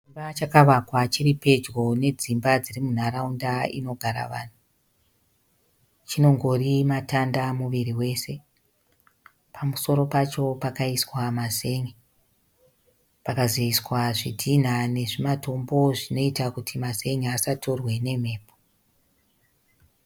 Chimba chakavakwa chiri pedyo nedzimba munharaunda inogara vanhu. Chinongori matanda muviri wese . Pamusoro pacho pakaiswa mazen'e pakazoiswa zvidhinha nezvimatombo zvinoita kuti mazen'e asatorwe nemhepo.